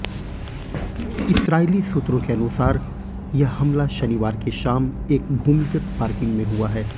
इस्राईली सूत्रों के अनुसार यह हमला शनिवार की शाम एक भूमिगत पार्किंग में हुआ है